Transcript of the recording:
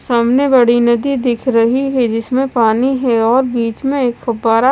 सामने बड़ी नदी दिख रही है जिसमे पानी है और बिच में एक फुआरा--